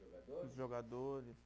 Os jogadores